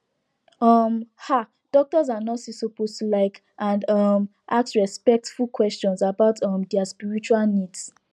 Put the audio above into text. um um doctors and nurses suppose to like and um ask respectful questions about um dia spiritual needs